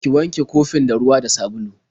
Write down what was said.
Ki wanke kofin da ruwa da sabulu.